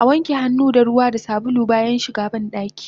Awanke hannu da ruwa da sabulu bayan shiga bandaki